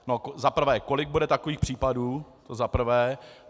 Za prvé, kolik bude takových případů, to za prvé.